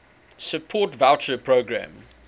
support voucher programme